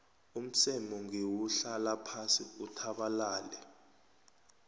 umseme ngewuhlala phasi uthabalale